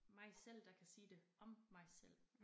Mig selv der kan sige det om mig selv